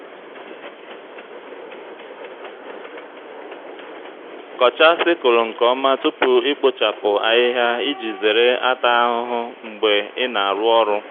kọchaa sickle nke ọma tupu ikpochapụ ahịhịa iji zere ata ahụhụ mgbe ị na-arụ ọrụ.